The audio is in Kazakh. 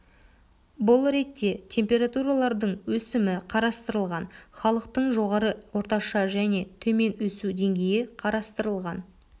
бұл ретте температуралардың өсімі қарастырылған халықтың жоғары орташа және төмен өсу деңгейі қарастырылған